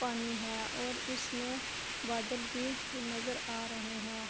پانی ہے اور اس مے بادل بھی نظر آرہے ہے